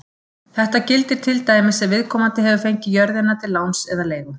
Þetta gildir til dæmis ef viðkomandi hefur fengið jörðina til láns eða leigu.